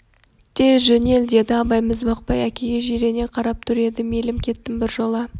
тез жөнел деді абай міз бақпай әкеге жирене қарап тұр еді мейлің кеттім біржола